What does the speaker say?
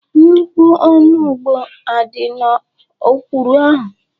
Nnukwu onugbo adị n'ọkwụrụ ahụ?